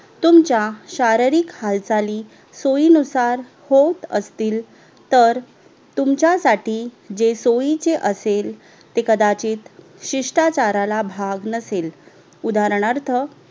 तुमच्या शारीरिक हालचाली सोईनुसार होत असतील तर तुमच्यासाठी जे सोईचे असेल ते कदाचित शिष्टाचाराला भाग नसेल उदाहरणार्थ